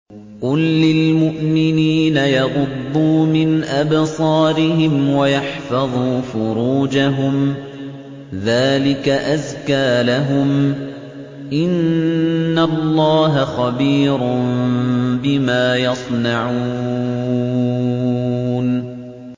قُل لِّلْمُؤْمِنِينَ يَغُضُّوا مِنْ أَبْصَارِهِمْ وَيَحْفَظُوا فُرُوجَهُمْ ۚ ذَٰلِكَ أَزْكَىٰ لَهُمْ ۗ إِنَّ اللَّهَ خَبِيرٌ بِمَا يَصْنَعُونَ